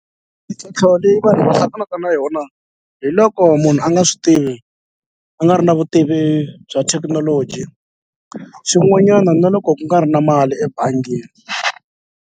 Mintlhontlho leyi vanhu va hlanganaka na yona hi loko munhu a nga swi tivi a nga ri na vutivi bya thekinoloji xin'wanyana na loko ku nga ri na mali ebangini.